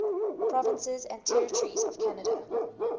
provinces and territories of canada